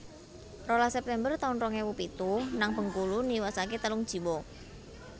rolas September taun rong ewu pitu nang Bengkulu niwasake telung jiwa